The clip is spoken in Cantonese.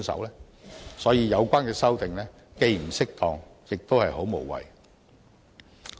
因此，有關的修訂既不適當，亦很無謂。